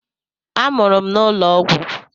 A mụrụ m n'ụlọ ọgwụ.